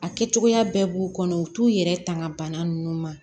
A kɛcogoya bɛɛ b'u kɔnɔ u t'u yɛrɛ tanga bana ninnu ma